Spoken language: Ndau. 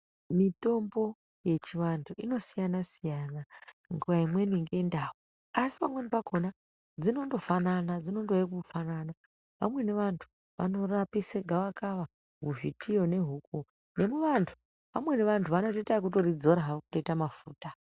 Mitombo yechivantu inosiyana-siyana ngenguwa imweni ngendau asi pamweni pakhona dzinondofanana, dzinondouya kufanana. Vamweni vanthu vanorapisa gavakava muzvitiyo nehuku nekuvanthu, vamweni vanthu vanotoita ekutidzora havo kuite mafuta.